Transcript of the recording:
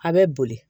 A bɛ boli